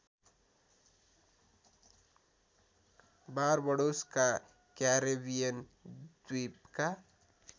बारबडोसका Caribbean द्वीपका